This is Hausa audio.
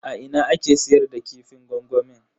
A ina ake siyar da kifin gwangwamin?